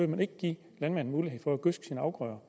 man ikke give landmanden mulighed for at gødske sine afgrøder